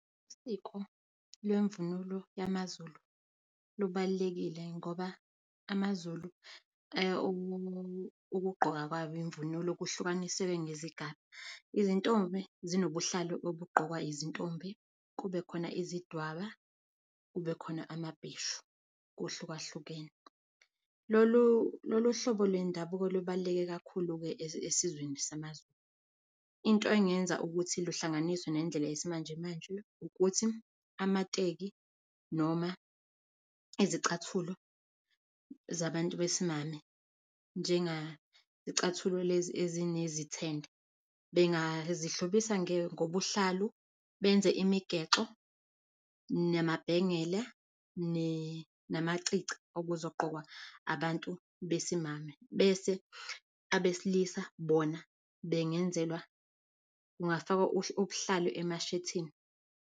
Usiko lwemvunulo yamaZulu lubalulekile ngoba amaZulu ukugqoka kwabo imvunulo kuhlukanisiwe ngezigaba. Izintombi zinobuhlalu obugqokwa izintombi kube khona izidwaba, kube khona amabheshu, kuhlukahlukene. Lolu lolu uhlobo lwendabuko olubaluleke kakhulu-ke esizweni samaZulu. Into engenza ukuthi luhlanganiswe nendlela yesimanjemanje, ukuthi amateki noma izicathulo zabantu besimame njenga izicathulo lezi ezine zithende bengazi hlobisa ngobuhlalu benze imigexo namabhengela namacici okuzogqokwa abantu besimame bese abesilisa bona bengenzelwa kungafakwa ubuhlalo emashethini.